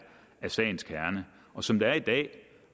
sagens kerne som det er i dag